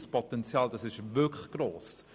Das Potenzial ist wirklich gross.